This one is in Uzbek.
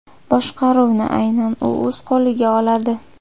Boshqaruvni aynan u o‘z qo‘liga oladi.